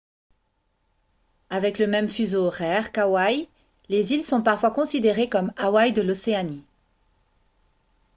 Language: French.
avec le même fuseau horaire qu’hawaï les îles sont parfois considérées comme « hawaï de l’océanie »